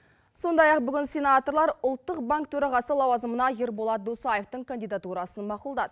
сондай ақ бүгін сенаторлар ұлттық банк төрағасы лауазымына ерболат досаевтың кандидатурасын мақұлдады